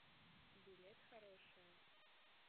билет хорошая